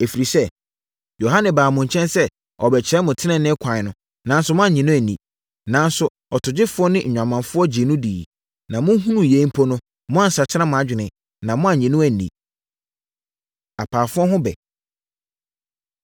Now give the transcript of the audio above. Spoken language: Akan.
Ɛfiri sɛ, Yohane baa mo nkyɛn sɛ ɔrebɛkyerɛ mo tenenee kwan, na moannye no anni. Nanso ɔtogyefoɔ ne nnwamanfoɔ gyee no diiɛ. Na mohunuu yei mpo no, moansakyera mo adwene, na moannye no anni.” Apaafoɔ Ho Ɛbɛ